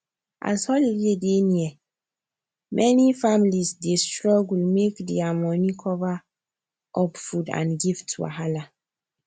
as holiday dey near many families dey struggle make their money cover um food and gift wahala